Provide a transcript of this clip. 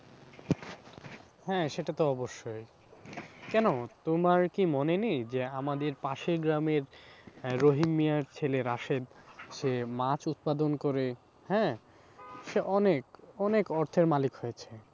হ্যাঁ, সেটা তো অবশ্যই কেন তোমার কি মনে নেই যে আমাদের পাশের গ্রামের হ্যাঁ, রহিম মিঞার ছেলে রাশীদ সে মাছ উৎপাদন করে হ্যাঁ সে অনেক অনেক অর্থের মালিক হয়েছে।